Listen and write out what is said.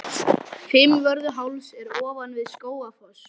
Fimmvörðuháls er ofan við Skógafoss.